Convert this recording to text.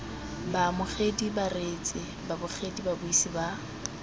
baamogedi bareetsi babogedi babuisi ba